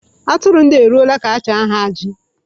Aturu ndia eruola ka-acha ha aji.